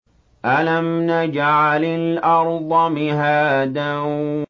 أَلَمْ نَجْعَلِ الْأَرْضَ مِهَادًا